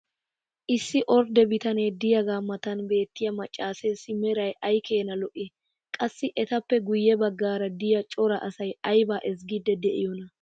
issi ordde bitanee diyaagaa matan beettiya macaaseessi meray ay keena lo'ii? qassi etappe guye bagaara diya cora asay aybaa ezzgiidi de'iyoonaa?